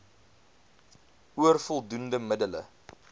oor voldoende middele